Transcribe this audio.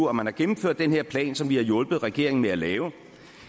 og man har gennemført den her plan som vi har hjulpet regeringen med at lave